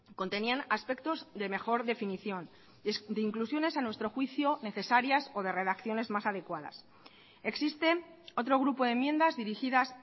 contenían aspectos de mejor definición de inclusiones a nuestro juicio necesarias o de redacciones más adecuadas existe otro grupo de enmiendas dirigidas